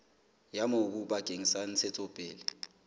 ya mobu bakeng sa ntshetsopele